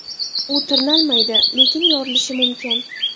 U tirnalmaydi, lekin yorilishi mumkin.